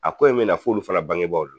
A ko in mɛna f'olu fana bangebaw la